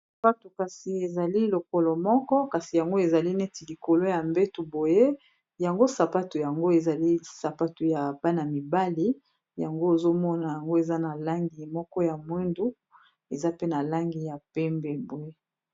Sapato kasi ezali lokolo moko kasi yango ezali neti likolo ya mbeto boye yango sapato yango ezali sapato ya bana-mibali yango ozomona yango eza na langi moko ya mwindu eza pe na langi ya pembe boye.